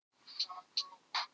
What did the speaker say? Sigtýr, hvernig er veðrið í dag?